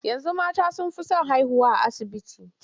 Yanzu mata sun fi son haihuwa a asibiti.